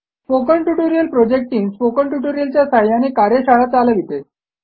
spoken tutorial project team spoken tutorial च्या सहाय्याने कार्यशाळा चालविते